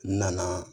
N nana